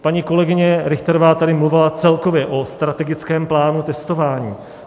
Paní kolegyně Richterová tady mluvila celkově o strategickém plánu testování.